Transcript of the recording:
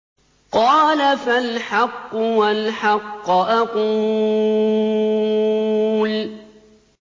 قَالَ فَالْحَقُّ وَالْحَقَّ أَقُولُ